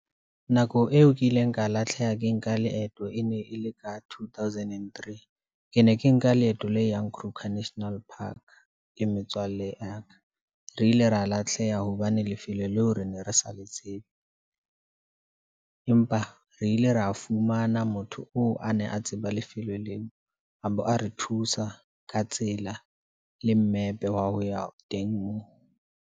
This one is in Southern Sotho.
Nako eo ke ileng ka latlheha ke nka leeto e ne e le ka two thousand and three. Ke ne ke nka leeto le yang Kruger National Park le metswalle ya ka. Re ile ra lahleha hobane lefele leo ne re sa le tsebe, empa re ile ra fumana motho oo ane a tseba lefelo leo, a be a re thusa ka tsela, le mmepe wa ho ya teng moo.